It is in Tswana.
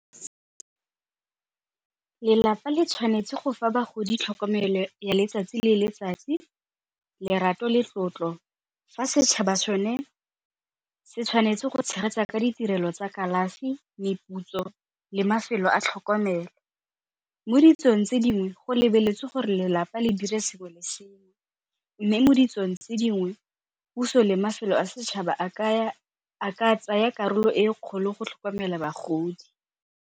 Lelapa le tshwanetse go fa bagodi tlhokomelo ya letsatsi le letsatsi, lerato le tlotlo fa setšhaba so ne se tshwanetse go tshegetsa ka ditirelo tsa kalafi meputso le mafelo a tlhokomelo. Mo ditsong tse dingwe go lebeletswe gore lelapa le dire sengwe le sengwe mme mo ditsong tse dingwe puso le mafelo a setšhaba a ka tsaya karolo e kgolo go tlhokomela bagodi.